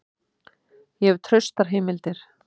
Ég hef traustar heimildir.